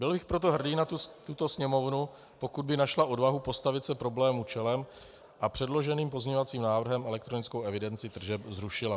Byl bych proto hrdý na tuto Sněmovnu, pokud by našla odvahu postavit se problémům čelem a předloženým pozměňovacím návrhem elektronickou evidenci tržeb zrušila.